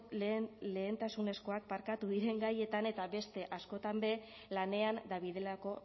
lehentasunezkoak diren gaietan eta beste askotan be lanean dabilelako